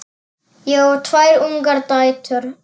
Ég á tvær ungar dætur.